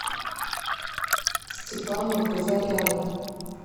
степану казаряну